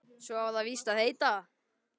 Svo á það víst að heita